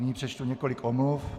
Nyní přečtu několik omluv.